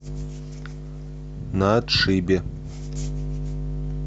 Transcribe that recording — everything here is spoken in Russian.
на отшибе